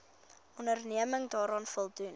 onderneming daaraan voldoen